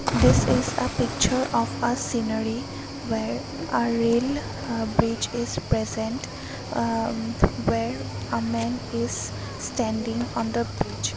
this is a picture of uh scenery where are rail ha bridge is present uhh where a man is standing on the bridge.